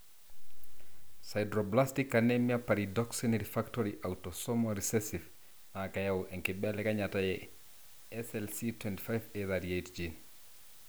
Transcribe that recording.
Sideroblastic anemia pyridoxine refractory autosomal recessive na keyau enkibelekenyata eSLC25A38 gene.